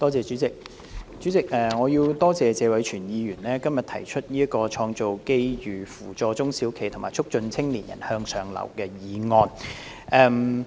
代理主席，我要多謝謝偉銓議員今天動議這項"創造機遇扶助中小型企業及促進青年人向上流動"議案。